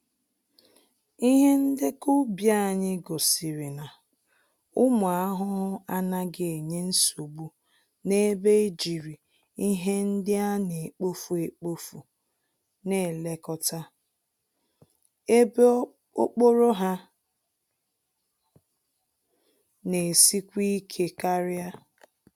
Ihe ndekọ ubi anyị gosiri na, ụmụ ahụhụ anaghị enye nsogbu n'ebe ejiri ihe ndị anekpofu-ekpofu n'elekota, ebe okpòrò ha n'esikwa ike karịa